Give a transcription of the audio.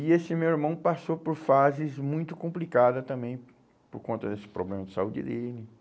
E esse meu irmão passou por fases muito complicadas também, por conta desse problema de saúde dele,